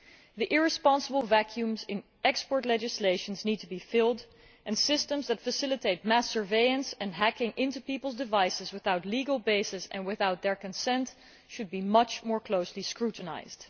The irresponsible vacuums in export legislation need to be filled, and systems that facilitate mass surveillance and hacking into peoples' devices without legal basis and without their consent should be much more closely scrutinised.